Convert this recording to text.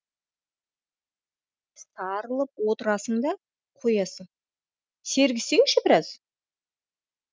сарылып отырасың да қоясың сергісеңші біраз